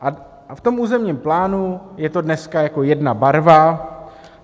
A v tom územním plánu je to dneska jako jedna barva.